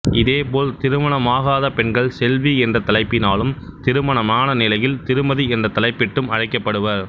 இதே போல் திருமணமாகாத பெண்கள் செல்வி என்ற தலைப்பினாலும் திருமணமான நிலையில் திருமதி என்ற தலைப்பிட்டும் அழைக்கப்படுவர்